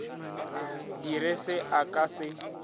dire se a ka se